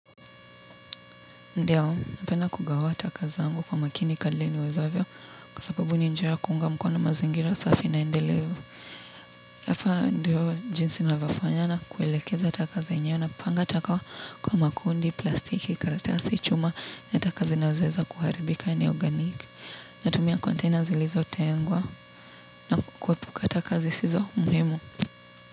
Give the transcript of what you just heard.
Ndiyo, napenda kugawa taka zangu kwa makini kadri niwezavyo kwa sababu ni njia ya kunga mkono mazingira safi na endelevu. Yafaa, ndiyo, jinsi ninavofanya na kuelekeza taka zenyewe napanga taka kwa makundi, plastiki, karatasi, chuma na taka zinazoweza kuharibika ni organiki. Natumia container zilizo tengwa na kuepuka taka zisizo muhimu.